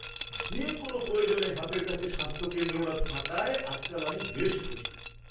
যে কোনও প্রয়োজনে হাতের কাছে স্বাস্থ্যকেন্দ্রটা থাকায় আজকাল আমি বেশ খুশি।